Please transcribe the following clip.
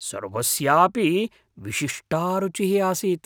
सर्वस्यापि विशिष्टा रुचिः आसीत्।